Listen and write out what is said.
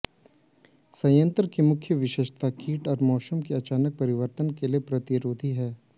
संयंत्र की मुख्य विशेषता कीट और मौसम की अचानक परिवर्तन के लिए प्रतिरोधी है